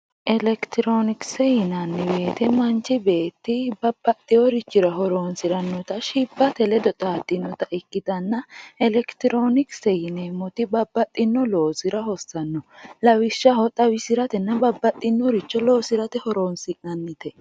elekitiroonikise yinanni woyiite manchi beetti babbaxxewoorichira horoonsirannota shibbate ledo xaaddinota ikkitanna elekitiroonikise yineemmoti babbaxxino loosira hossanno. lawishshaho xawisiratenna babbaxxinoricho loosirate horoonsi'nannite.